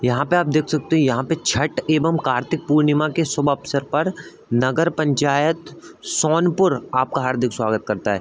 यहाँ पे आप देख सकते हो यहाँ पे छठ एवं कार्तिक पूर्णिमा के शुभ अवसर पर नगर पंचायत सोनपुर आपका हार्दिक स्‍वागत करता है ।